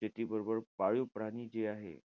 शेतीबरबर पाळीव प्राणी जे आहे.